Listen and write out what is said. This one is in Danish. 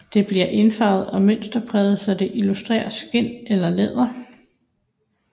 Det bliver indfarvet og mønsterpræget så det illuderer skind eller læder